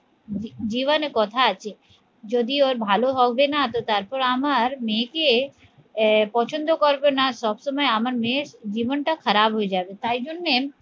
জীবনে কথা আছে যদি ওর ভালো হবে না তো তারপর আমার মেয়েকে আহ পছন্দ করবে না সব সময় আমার মেয়ের জীবনটা খারাপ হয়ে যাবে তাই জন্যে